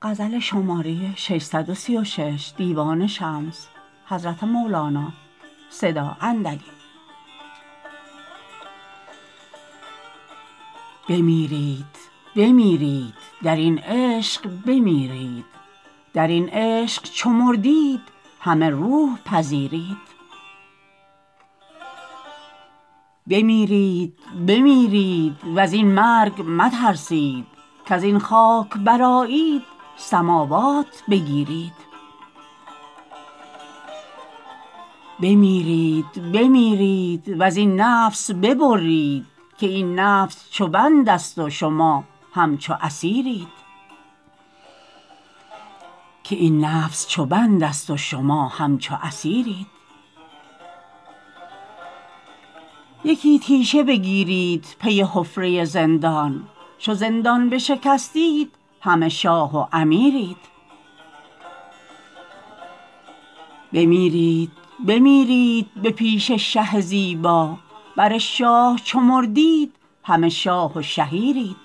بمیرید بمیرید در این عشق بمیرید در این عشق چو مردید همه روح پذیرید بمیرید بمیرید و زین مرگ مترسید کز این خاک برآیید سماوات بگیرید بمیرید بمیرید و زین نفس ببرید که این نفس چو بندست و شما همچو اسیرید یکی تیشه بگیرید پی حفره زندان چو زندان بشکستید همه شاه و امیرید بمیرید بمیرید به پیش شه زیبا بر شاه چو مردید همه شاه و شهیرید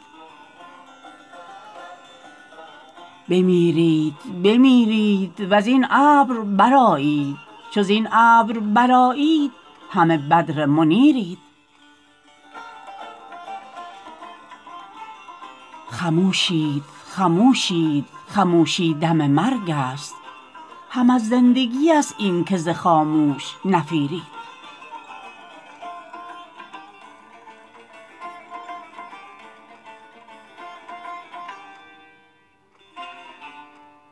بمیرید بمیرید و زین ابر برآیید چو زین ابر برآیید همه بدر منیرید خموشید خموشید خموشی دم مرگست هم از زندگیست اینک ز خاموش نفیرید